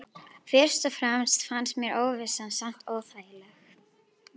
Fyrst og fremst fannst mér óvissan samt óþægileg.